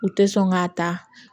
U tɛ sɔn k'a ta